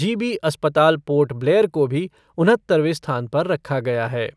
जी B अस्पताल पोर्ट ब्लेयर को भी उनहत्तरवें स्थान पर रखा गया है।